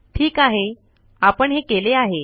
ठीक आहे आपण हे केले आहे